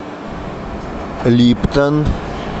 липтон